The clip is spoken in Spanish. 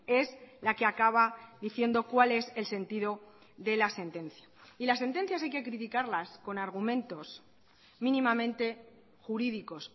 es la que acaba diciendo cuál es el sentido de la sentencia y las sentencias hay que criticarlas con argumentos mínimamente jurídicos